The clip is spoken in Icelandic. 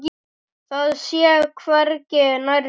Það sé hvergi nærri nóg.